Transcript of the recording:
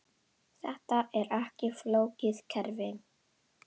Þetta er ekki flókið kerfi.